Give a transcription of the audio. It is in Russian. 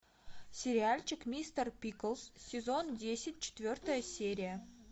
сериальчик мистер пиклз сезон десять четвертая серия